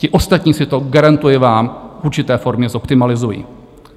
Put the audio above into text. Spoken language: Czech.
Ti ostatní si to - garantuji vám - v určité formě zoptimalizují.